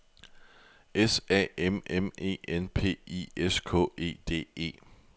S A M M E N P I S K E D E